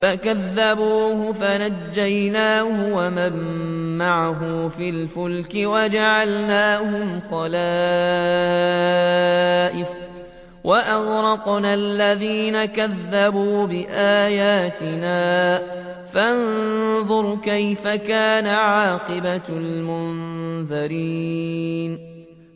فَكَذَّبُوهُ فَنَجَّيْنَاهُ وَمَن مَّعَهُ فِي الْفُلْكِ وَجَعَلْنَاهُمْ خَلَائِفَ وَأَغْرَقْنَا الَّذِينَ كَذَّبُوا بِآيَاتِنَا ۖ فَانظُرْ كَيْفَ كَانَ عَاقِبَةُ الْمُنذَرِينَ